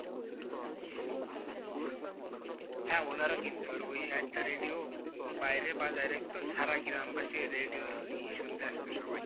হ্যাঁ ওনারা কিনতো আর ওই একটা radio বাইরে বাজাই রাখত সারা গ্রামবাসি এই radio ই শুনতে আসতো সবাই।